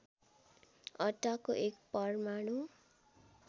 अड्डाको एक परमाणु